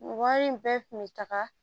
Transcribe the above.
Wari in bɛɛ kun bɛ taga